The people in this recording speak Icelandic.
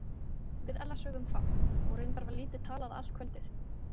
Við Ella sögðum fátt og reyndar var lítið talað allt kvöldið.